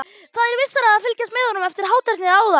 Það er vissara að fylgjast með honum eftir hátternið áðan.